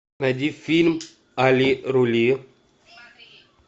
найди фильм али рули